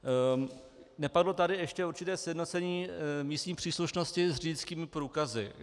Nepadlo tady ještě určité sjednocení místní příslušnosti s řidičskými průkazy.